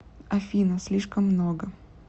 афина слишком много